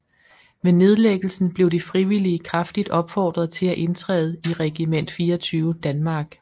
Ved nedlæggelsen blev de frivillige kraftigt opfordret til at indtræde i Regiment 24 Danmark